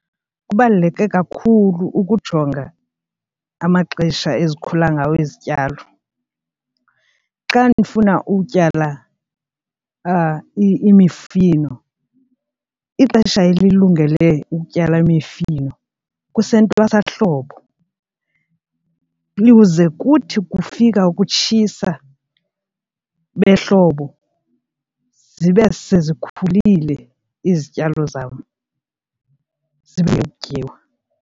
Kubaluleke kakhulu ukujonga amaxesha ezikhula ngawo izityalo. Xa ndifuna utyala imifino, ixesha elilungele ukutyala imifino kusentwasahlobo lize kuthi kufika ukutshisa behlobo zibe sezikhulile izityalo zam tyiwa.